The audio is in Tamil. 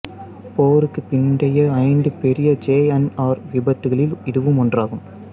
போருக்குப் பிந்தைய ஐந்து பெரிய ஜே என் ஆர் விபத்துகளில் இதுவும் ஒன்றாகும்